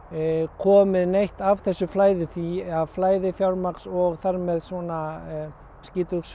komið neitt af þessu flæði því að flæði fjármagns og þar með svona